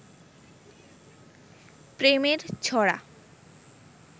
প্রেমের ছড়া